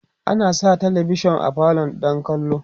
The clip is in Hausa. ana Sa talavishan a falo don kallo